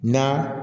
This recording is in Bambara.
Na